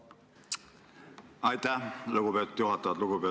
Aitäh, lugupeetud juhataja!